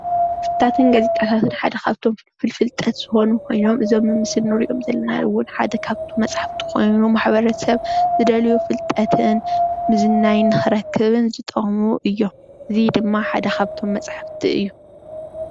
መጽሓፍትን ጋዜጣታትን ሓደ ካብቶም ፍልፍል ፍልጠት ዝኮኑ ኮይኖም እዚ ኣብ ምስሊ ንሪኦም ዘለና እውን ሓደ ካብቲ መጽሓፍቲ ኮይኑ ማሕበረሰብ ዝደልዮ ፍልጠትን ምዝንናይን ንክረክብን ዝጠቅሙ እዮም:: እዚ ድማ ሓደ ካብቶም መጽሓፍቲ እዩ::